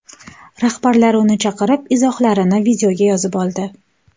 Rahbarlari ularni chaqirib, izohlarini videoga yozib oldi.